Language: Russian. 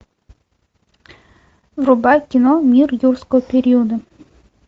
врубай кино мир юрского периода